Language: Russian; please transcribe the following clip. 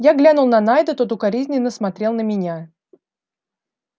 я глянул на найда тот укоризненно смотрел на меня